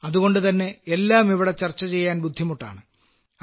അതുകൊണ്ടുതന്നെ എല്ലാം ഇവിടെ ചർച്ച ചെയ്യാൻ ബുദ്ധിമുട്ടാണ്